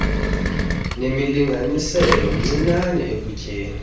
nezimlinganiselo mncinane ekutyeni